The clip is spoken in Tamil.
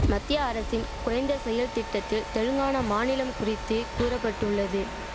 மத்திய அரசின் குறைந்த செயல் திட்டத்தில் தெலுங்கானா மாநிலம் குறித்து கூறபட்டுள்ளது